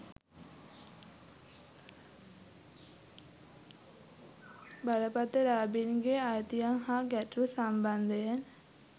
බලපත්‍රලාභීන්ගේ අයිතීන් හා ගැටලු සම්බන්ධයෙන්